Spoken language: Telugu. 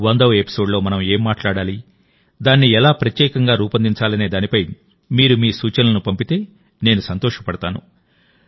వందవ ఎపిసోడ్లో మనం ఏం మాట్లాడాలి దాన్ని ఎలా ప్రత్యేకంగా రూపొందించాలనే దానిపై మీరు మీ సూచనలను పంపితే నేను సంతోషపడతాను